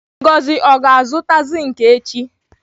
Ngozi o ga-azụta zinki echi?